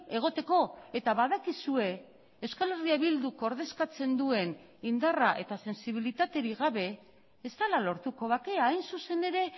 egoteko eta badakizue euskal herria bilduk ordezkatzen duen indarra eta sentsibilitaterik gabe ez dela lortuko bakea hain zuzen ere